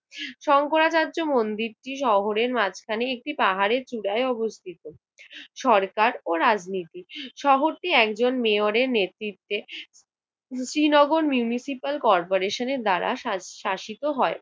শংকরাচার্য মন্দিরটি শহরের মাঝখানে একটি পাহাড়ের চূড়ায় অবস্থিত। সরকার ও রাজনীতি! শহরটি একজন মেয়রের নেতৃত্বে শ্রীনগর মিউনিসিপাল কর্পোরেশনের দ্বারা শাস~ শাসিত হয়।